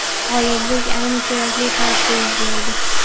G‘oliblik ayni kerakli paytda yuz berdi.